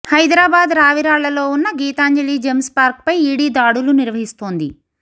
హైదరాబాద్ రావిరాళ్లలో ఉన్న గీతాంజలి జెమ్స్ పార్క్పై ఈడీ దాడులు నిర్వహిస్తోంది